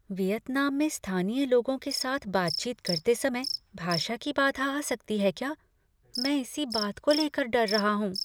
Vietnam में स्थानीय लोगों के साथ बातचीत करते समय भाषा की बाधा आ सकती है क्या? मैं इसी बात को लेकर डर रहा हूँ।